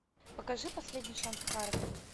покажи последний шанс харви